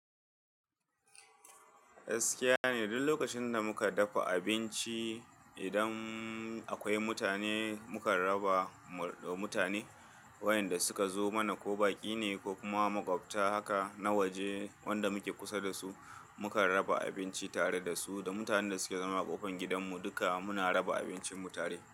Gaskiya ne duk lokacin da muka dafa abinci, idan akwai mutane muka raba wa mutane wayanda suka zo mana ko baƙi ne ko kuma maƙwabta haka na waje wanda muke kusa da su, muka raba abinci tare da su da mutanen da suke zama a ƙofar gidanmu duka muna raba abincinmu tare.